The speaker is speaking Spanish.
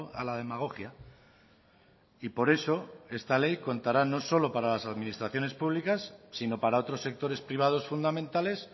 a la demagogia y por eso esta ley contará no solo para las administraciones públicas sino para otros sectores privados fundamentales